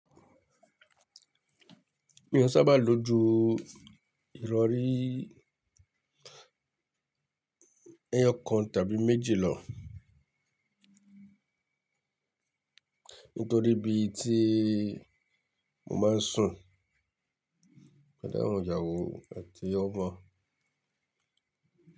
Mi ò sábà lo ju ìrọrí ẹyọ kan tàbí méjì lọ. Nítorí bí tí mo máa ń sùn pẹ̀lú àwọn ìyàwó àti ọmọ.